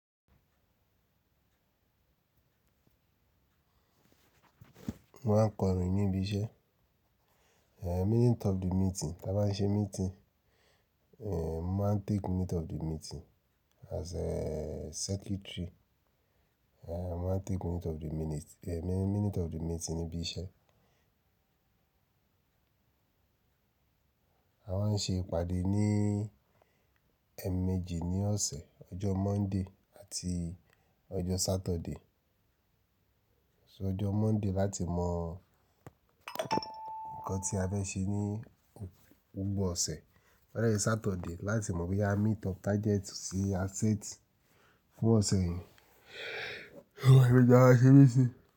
Mo máa ń kọrin níbi iṣẹ́. Eh, minute of the meeting, tí a bá ń ṣe meeting, eh, mo máa ń take minute of the meeting as a secretary. Eh, mo máa ń take minute of the minute-- eh, minute of the meeting níbí iṣẹ́. A máa ń ṣe ìpàdé ní ẹẹ̀ẹ̀mejì ní ọ̀sẹ̀, ọjọ́ Monday àti ọjọ́ Saturday. So ọjọ́ Monday láti mọ nǹkan tí a fẹ́ ṣe ní gbogbo ọ̀sẹ̀, to ba dè je Saturday láti mọ bí a meet up target tí a set fún ọ̀sẹ̀ yẹn oun leemeji ta maa n ṣẹ́ meeting.